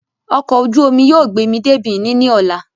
Ọkọ̀ ojú omi yóò gbé mi dé Benin ní ọ̀la